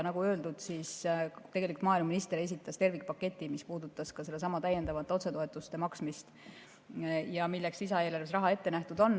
Nagu öeldud, siis maaeluminister esitas tervikpaketi, mis puudutas ka sedasama täiendavate otsetoetuste maksmist ja milleks lisaeelarves on raha ette nähtud.